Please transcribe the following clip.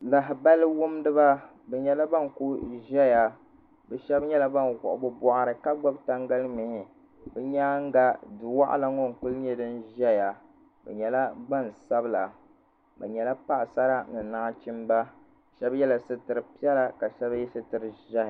lahabali wumdiba bi nyɛla ban ku ʒɛya bi shab nyɛla ban wuɣi bi boɣari ka gbubi tangali mihi bi nyaanga du waɣala ŋɔ n ku nyɛ din ʒɛya bi nyɛla gbansabila bi nyɛla paɣasara ni nachimba shab yɛla sitiri sabila ka shab yɛ sitiri ʒiɛhi